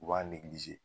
U b'a